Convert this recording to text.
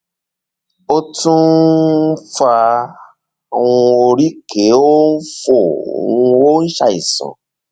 ó tún um ń fa um oríkèé ó ń fò um ó ń ṣàìsàn